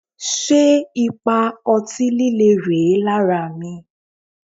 Ṣé ipa ọtí líle rèé lára mi?